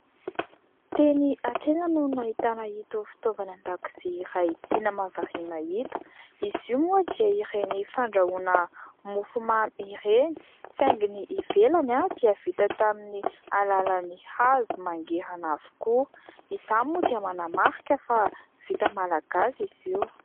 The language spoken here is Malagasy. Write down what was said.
Teny an-tsena no nahitana an'ito fitaovana an-dakozia iray tena mahavariana ito. Izy io moa dia ireny fandrahoana mofo mamy ireny saingy ny ivelany dia vita tamin'ny alalan'ny hazo mangirana avokoa. Izany moa dia manamarika fa vita malagasy izy io.